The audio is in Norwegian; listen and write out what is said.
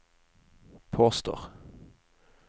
påstår